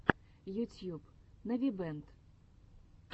ютьюб навибэнд